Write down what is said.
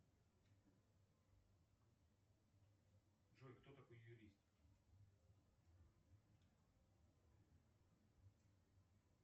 джой кто такой юрист